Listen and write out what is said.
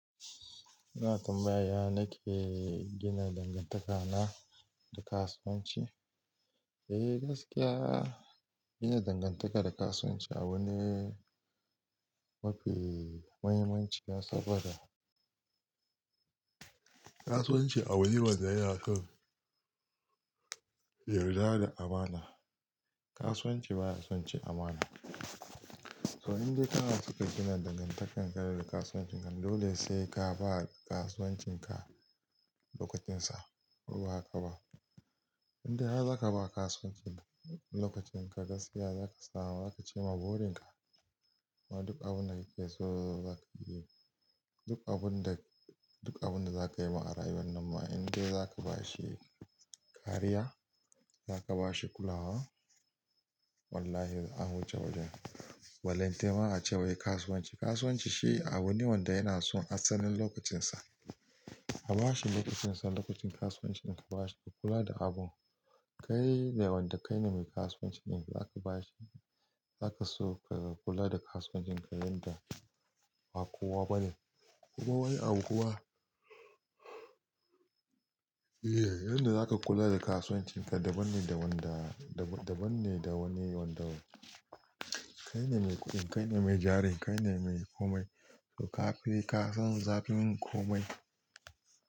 Ina tambaya nake gina dangantakana da kasuwanci? Eh, gaskiya gina dangantaka da kasuwanci abu ne mafi muhimmanci ne saboda kasuwanci abu ne wanda yana so yarda da amana. Kasuwanci baya son cin amana. Toh in dai kana so ka gina dangantakar ka da kasuwancinka dole sai ka ba kasuwancinka lokacinsa. Ko ba haka ba? In dai har zaka ba kasuwancin lokacin ka gaskiya zaka samu, zaka ci ma burin ka. Kuma duk abun da kake so zaka iya yi. Duk abun da, duk abun da zaka yi ma a rayuwan nan ma in dai zaka ba shi kariya, zaka ba shi kulawa, wallahi an wuce wajen. Walan tema ace wai kasuwanci, kasuwanci shi abu ne wanda yana son asalin lokacinsa. A ba shi lokacinsa, lokacin kasuwancin da ka ba shi ka kula da abun. Kai da wanda kaine mai kasuwanci din zaka ba shi, zaka so ka kula da kasuwancinka yadda ba kowa bane. Kuma wani abu kuma, Da yadda zaka kula da kasuwancinka daban ne da wanda, daban-daban ne da wani wanda kai ne mai kuɗin, kai ne mai jarin, kai ne mai komai. Toh ka fi, ka san zafin komai.